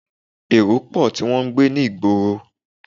Èrò pò tí wọn ń gbé ní ìgboro.